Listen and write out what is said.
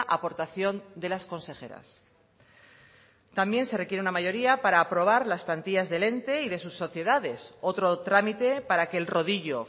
aportación de las consejeras también se requiere una mayoría para aprobar las plantillas del ente y de sus sociedades otro trámite para que el rodillo